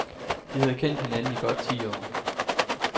De havde kendt hinanden i godt ti år.